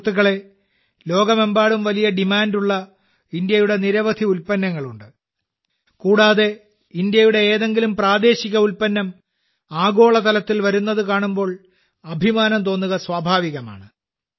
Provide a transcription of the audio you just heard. സുഹൃത്തുക്കളേ ലോകമെമ്പാടും വലിയ ഡിമാൻഡുള്ള ഭാരതത്തിന്റെ നിരവധി ഉൽപ്പന്നങ്ങളുണ്ട് കൂടാതെ ഭാരതത്തിന്റെ ഏതെങ്കിലും പ്രാദേശിക ഉൽപ്പന്നം ആഗോളതലത്തിൽ വരുന്നത് കാണുമ്പോൾ അഭിമാനം തോന്നുക സ്വാഭാവികമാണ്